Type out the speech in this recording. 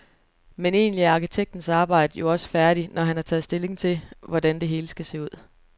Men egentlig er arkitektens arbejde jo også færdigt, når han har taget stilling til, hvordan det hele skal se ud.